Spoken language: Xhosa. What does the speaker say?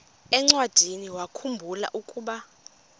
encwadiniwakhu mbula ukuba